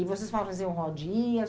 E vocês faziam rodinhas?